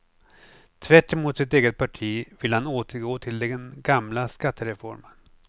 Tvärtemot sitt eget parti vill han återgå till den gamla skattereformen.